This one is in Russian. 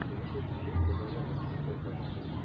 запусти ленту жанр российская классика